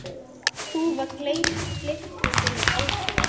Þúfa gleypti sinn ósigur.